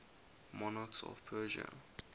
monarchs of persia